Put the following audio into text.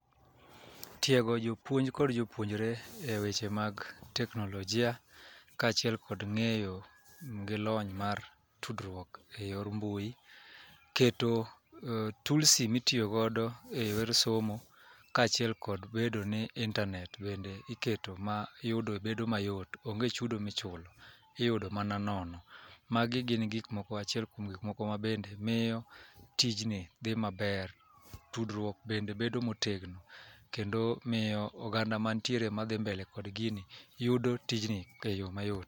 Tiego jopuonj kod jopuonjre e weche mag teknolojia kaachiel kod ng'eyo gi lony mar tudruok e yor mbui keto tulsi mitiyogodo e yor somo kaachiel kod bedo ni intanet bende iketo mayudo bedo mayot onge chudo michulo, iyudo mana nono. Magi gin achiel kuom gikmoko mabende miyo tijni dhi maber tudruok bende bedo motegno kendo miyo oganda mantiere madhi mbele kod gini yudo tijni e yo mayot.